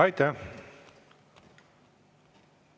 Aitäh!